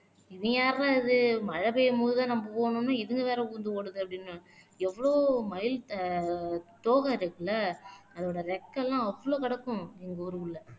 இவன் யார்றா இது மழை பெய்யும் போதுதான் நம்ம போகணும்ன்னா இதுங்க வேற விழுந்து ஓடுது அப்படின்னு எவ்ளோ மயில் ஆஹ் தோகை இருக்குல்ல அதோட இறக்கை எல்லாம் அவ்வளவு கிடக்கும் எங்க ஊருக்குள்ள